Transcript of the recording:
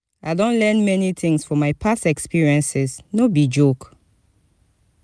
i don learn many tings for my past experiences no be joke.